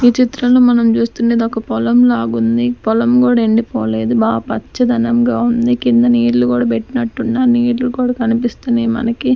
ఈ చిత్రంలో మనం చూస్తుంటే ఇదొక పొలం లాగుంది పొలం గూడా ఎండిపోలేదు బా పచ్చదనంగా ఉంది కింద నీళ్లు గూడా పెట్టినట్టున్నా నీళ్లు కూడా కనిపిస్తున్నాయి మనకి--